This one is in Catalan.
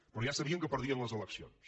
però ja sabien que perdien les eleccions